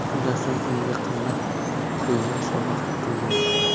Shundan so‘ng unga qimmat konyak sovg‘a qilgan.